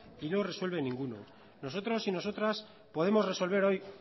y no resuelve ninguno nosotros y nosotras podemos resolver hoy